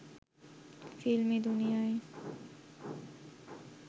ফিল্মি দুনিয়ায়